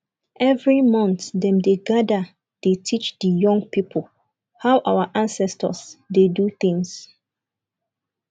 every month dem dey gather dey teach di young pipo how our ancestors dey do tins